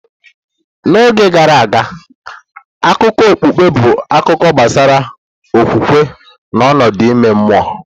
N'oge gara aga, akụkọ okpukpe bụ akụkọ gbasara okwukwe na ọnọdụ ime mmụọ.